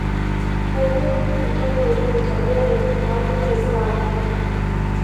kayieu entoki naitakweni paaliki sam